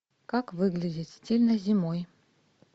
как выглядеть стильно зимой